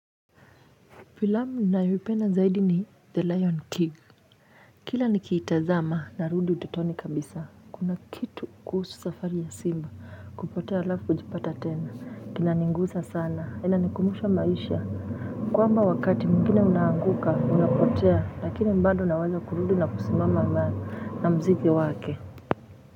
Filamu ninayoipenda zaidi ni The Lion King. Kila nikiitazama narudi utotoni kabisa. Kuna kitu kuhusu safari ya simba kupotea alafu hujipata tena. Kinaniguza sana. Inanikumbusha maisha. Kwamba wakati mwingine unaanguka, unapotea lakini bado unaweza kurudi na kusimama na muziki wake.